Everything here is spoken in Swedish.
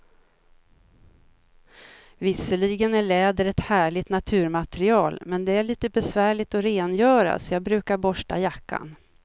Visserligen är läder ett härligt naturmaterial, men det är lite besvärligt att rengöra, så jag brukar borsta jackan.